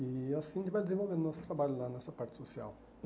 E assim a gente vai desenvolvendo o nosso trabalho lá nessa parte social.